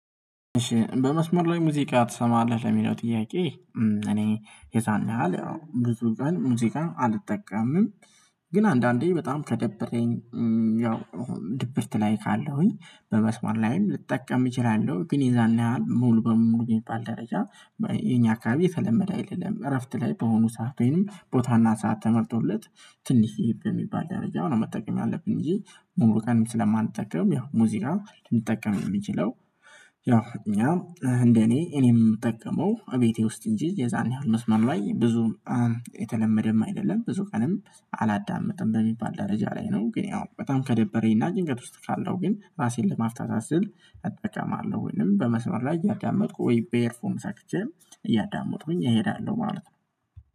በመስመር ላይ ሙዚቃ ትሰማለህ ለሚለው ጥያቄ? እኔ የዛን ያህል ያው ብዙ ቀን ሙዚቃ አልጠቀምም። ግን አንዳንዴ በጣም ከደበረኝ ያው ድብርት ላይ ካለሁኝ በመስመር ላይም ልጠቀም እችላለሁ ግን የዛን ያህል ሙሉ በሙሉ ሚባል ደረጃ የኛ አካባቢ የተለመደ አይደለም። እረፍት ላይ በሆኑ ሰዓት ወይንም ቦታና ሰዓት ተመርጦለት ትንሽ ይብ የሚባል ደረጃ ነው። መጠቀም ያለብኝ ብዬ ሙሉ ቀን ስለማልጠቀም ያው ሙዚቃ ሊጠቀም የሚችለው። ያው እኛ እንደኔ እኔም የምጠቀመው እቤቴ ውስጥ እንጂ የዛን ያህል መስመር ላይ ብዙም የተለመደም አይደለም ብዙ ቀንም አላዳምጥም በሚባል ደረጃ ላይ ነው። ግን ያው በጣም ከደበረኝና ጭንቀት ውስጥ ካለው ግን ራሴን ለማፍታት ስል አቅጣጫም አለው ወይንም በመስመር ላይ እያዳመጥኩ ወይ ቤሄርፎን ሰክቼ እያዳመጡኩኝ እሄዳለሁ ማለት ነው